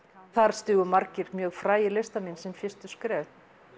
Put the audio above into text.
þar stigu margir mjög frægir listamenn sín fyrstu skref